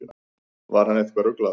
Var hann eitthvað ruglaður?